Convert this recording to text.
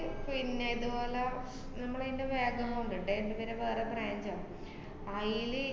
പിന്നെ ഇതുപോലെ നമ്മള് ഇയിന്‍റെ വേറൊരു amount ണ്ടെ. ന്‍റെ പിന്നെ വേറെ branch ആ. അയില്